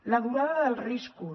la durada dels riscos